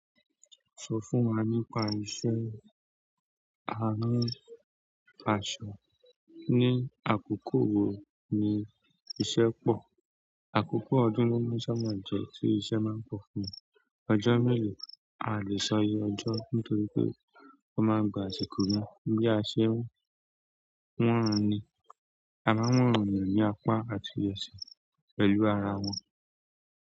Sọ fún wa nípa iṣẹ́ arin aṣọ. Ní àkókò wo ni iṣẹ́ pọ̀, àkókò ọdún lóun sábà jẹ tí iṣẹ́ máa ń pọ̀ fún mi, ọjọ́ mélòó? A o lè sọ iye ọjọ́ nítorí pé o máa ń gba àsìkò yen, bí a ṣe ń wọn ẹni, a máa ń wọn eyan ní apá àti ìrèsì pẹ̀lú ara wọn.